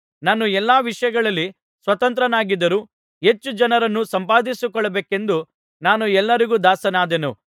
ನಾನು ಎಲ್ಲಾ ವಿಷಯಗಳಲ್ಲಿ ಸ್ವತಂತ್ರನಾಗಿದ್ದರೂ ಹೆಚ್ಚು ಜನರನ್ನು ಸಂಪಾದಿಸಿಕೊಳ್ಳಬೇಕೆಂದು ನಾನು ಎಲ್ಲರಿಗೂ ದಾಸನಾದೆನು